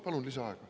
Palun lisaaega!